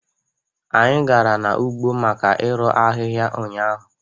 Anyị gara ugbo maka irụ ahịhịa ụnyaahụ